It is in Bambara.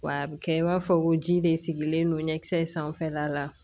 Wa a bɛ kɛ i b'a fɔ ko ji de sigilen don ɲɛkisɛ in sanfɛla la